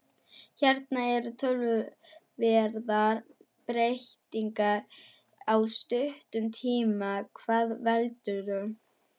Hérna eru töluverðar breytingar á stuttum tíma, hvað veldur?